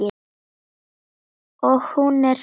Og hún er hrædd.